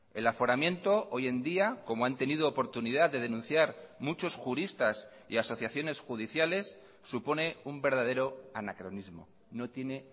el aforamiento hoy en día como han tenido oportunidad de denunciar muchos juristas y asociaciones judiciales supone un verdadero anacronismo no tiene